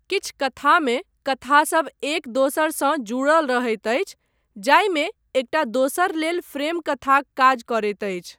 किछु कथामे कथासभ एक दोसरसँ जुड़ल रहैत अछि, जाहिमे एकटा दोसर लेल फ्रेम कथाक काज करैत अछि।